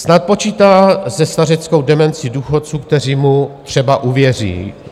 Snad počítá se stařeckou demenci důchodců, kteří mu třeba uvěří.